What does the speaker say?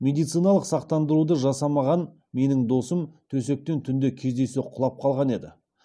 медициналық сақтандыруды жасамаған менің досым төсектен түнде кездейсоқ құлап қалған еді